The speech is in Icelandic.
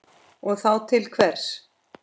Og þá til hvers?